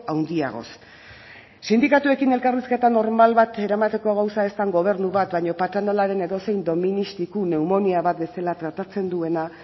handiagoz sindikatuekin elkarrizketa normal bat eramateko gauza ez den gobernu bat baino patronalaren edozein doministiku neumonia bat bezala tratatzen duena